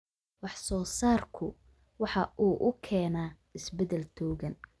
Wax soo saarku waxa uu keenaa isbeddel togan.